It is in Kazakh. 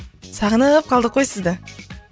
сағынып қалдық қой сізді